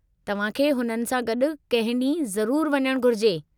तव्हांखे हुननि सां गॾु कंहिं ॾींहुं ज़रूरु वञणु घुरिजे।